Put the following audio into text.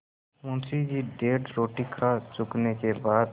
मुंशी जी डेढ़ रोटी खा चुकने के बाद